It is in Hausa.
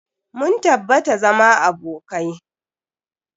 Mun tabbata zama abokai.